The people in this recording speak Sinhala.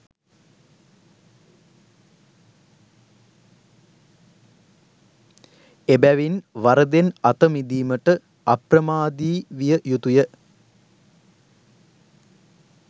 එබැවින් වරදෙන් අත මිදීමට අප්‍රමාදී විය යුතුය.